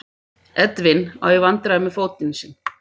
Edwin á í vandræðum með fótinn sinn.